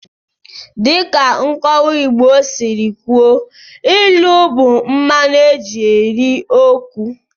Dịka nkọwa Igbo siri kwuo, ilu bụ mmanụ eji eri okwu.